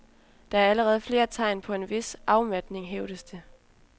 Der er allerede flere tegn på en vis afmatning, hævdes det.